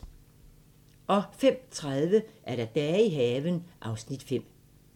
05:30: Dage i haven (Afs. 5)